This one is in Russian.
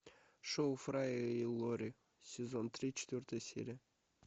шоу фрая и лори сезон три четвертая серия